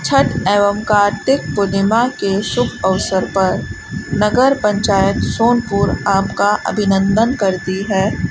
छठ एवं कार्तिक पूर्णिमा के शुभ अवसर पर नगर पंचायत सोनपुर आपका अभिनंदन करती है।